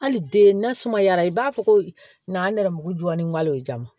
Hali den nasuma yara i b'a fɔ ko n'an nɛrɛmugu dunwari jama